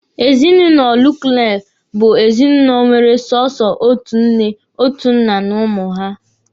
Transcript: Ezinụlọ nuklia bụ ezinụlọ nwere sọsọ otu nne, otu na n'ụmụ ha.